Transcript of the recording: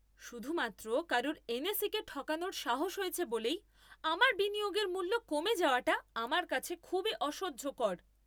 শুধুমাত্র কারুর এনএসই কে ঠকানোর সাহস হয়েছে বলেই, আমার বিনিয়োগের মূল্য কমে যাওয়াটা আমার কাছে খুবই অসহ্যকর।